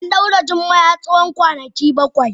An daure Jummai har tsawon kwanaki bakwai.